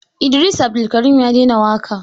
Idris Abdulkarim ya daina waƙa.